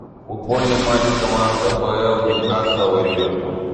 футбольный матч команд апл ньюкасл и ливерпуль